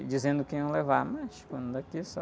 E dizendo que iam levar, mas só...